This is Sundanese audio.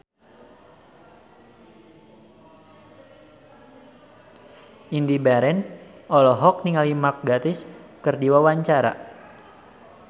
Indy Barens olohok ningali Mark Gatiss keur diwawancara